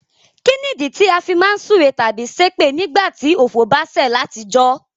Kínìdí ti a fi má n súre tábí sépè nígbàtí ọ̀fọ̀ ba sẹ̀ látijọ́?